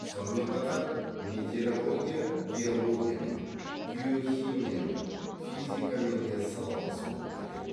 сонымен қатар метеорология геологиямен геохимиямен физикамен де салалас болып келеді